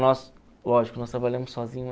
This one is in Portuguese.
Nós lógico, nós trabalhamos sozinhos.